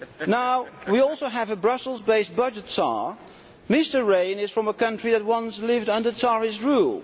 Now we also have a Brussels based budget tsar. Mr Rehn is from a country that once lived under tsarist rule.